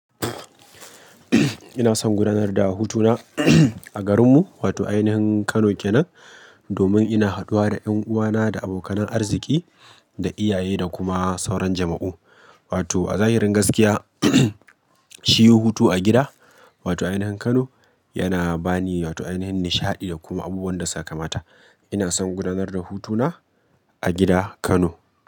Ina son gudanar da hutuna a garinmu, wato a ainihin Kano ke nan, domin ina haduwa da 'yan uwana da abokanan arziki da iyaye da kuma sauran jama'u. Wato a zahirin gaskiya, shi hutu a gida, wato ainihin Kano yana bani wato a yanayin nishaɗi da kuma abubuwan da suka mata. Ina son gudanar da hutuna a gida Kano.